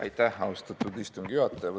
Aitäh, austatud istungi juhataja!